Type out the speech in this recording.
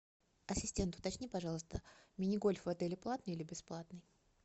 ассистент уточни пожалуйста мини гольф в отеле платный или бесплатный